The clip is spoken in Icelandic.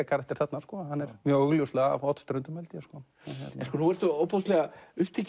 karakter þarna hann er mjög augljóslega af Hornströndum held ég nú ertu ofboðslega upptekinn